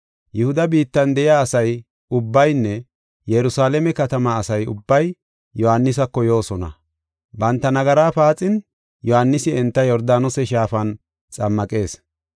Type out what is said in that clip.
Yihuda biittan de7iya asa ubbaynne Yerusalaame katamaa asa ubbay Yohaanisako yoosona. Banta nagara paaxin, Yohaanisi enta Yordaanose Shaafan xammaqees.